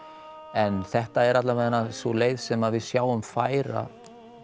en þetta er alla vegana sú leið sem að við sjáum færa